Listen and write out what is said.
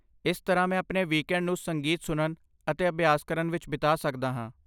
ਇਸ ਤਰ੍ਹਾਂ, ਮੈਂ ਆਪਣੇ ਵੀਕਐਂਡ ਨੂੰ ਸੰਗੀਤ ਸੁਣਨ ਅਤੇ ਅਭਿਆਸ ਕਰਨ ਵਿੱਚ ਬਿਤਾ ਸਕਦਾ ਹਾਂ।